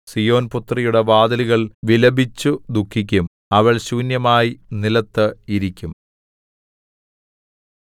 സീയോൻപുത്രിയുടെ വാതിലുകൾ വിലപിച്ചു ദുഃഖിക്കും അവൾ ശൂന്യമായി നിലത്തു ഇരിക്കും